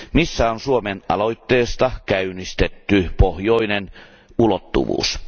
Missä on Suomen aloitteesta käynnistetty pohjoinen ulottuvuus?